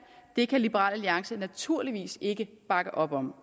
det kan liberal alliance naturligvis ikke bakke op om